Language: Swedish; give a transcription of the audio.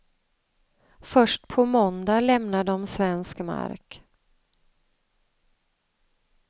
Först på måndag lämnar de svensk mark.